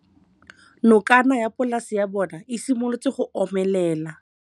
Nokana ya polase ya bona, e simolola go omelela.